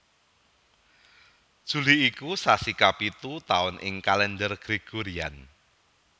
Juli iku sasi kapitu taun ing Kalendher Gregorian